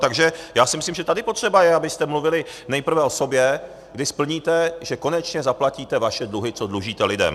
Takže já si myslím, že tady potřeba je, abyste mluvili nejprve o sobě, kdy splníte, že konečně zaplatíte vaše dluhy, co dlužíte lidem.